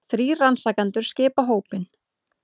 Þrír rannsakendur skipa hópinn